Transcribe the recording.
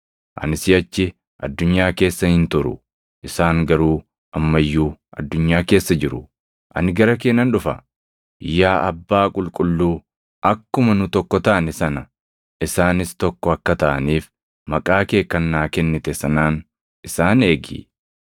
Ani siʼachi addunyaa keessa hin turu; isaan garuu amma iyyuu addunyaa keessa jiru; ani gara kee nan dhufa. Yaa Abbaa Qulqulluu, akkuma nu tokko taane sana isaanis tokko akka taʼaniif maqaa kee kan naa kennite sanaan isaan eegi.